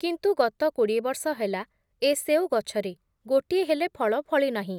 କିନ୍ତୁ ଗତ କୋଡ଼ିଏ ବର୍ଷ ହେଲା, ଏ ସେଓ ଗଛରେ, ଗୋଟିଏ ହେଲେ ଫଳ ଫଳି ନାହିଁ ।